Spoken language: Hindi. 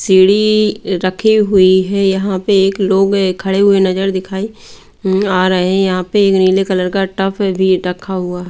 सीढ़ी रखी हुई है यहां पे एक लोग खड़े हुए नजर दिखाई आ रहे हैं यहां पे एक नीले कलर का टब भी रखा हुआ--